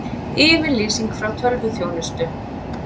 Yfirlýsing frá tölvuþjónustu